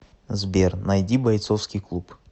сбер найди бойцовский клуб